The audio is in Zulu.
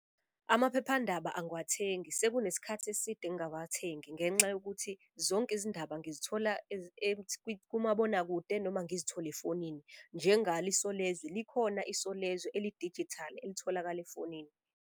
Amaphephandaba angiwathengi sekunesikhathi eside ngingawathengi ngenxa yokuthi zonke izindaba ngizithola kumabonakude noma ngizithole efonini. Njengalo Isolezwe likhona Isolezwe eli-digital elitholakala efonini.